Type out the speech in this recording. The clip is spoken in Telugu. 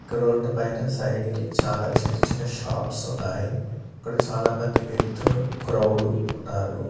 ఇక రోడ్డుపైన సైడ్ కి చాలా చిన్నచిన్న షాప్స్ ఉన్నాయి ఇక్కడ చాలామంది వ్యక్తులు క్రౌడు ఉన్నారు.